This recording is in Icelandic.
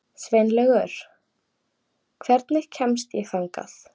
Sveinlaugur, hvernig kemst ég þangað?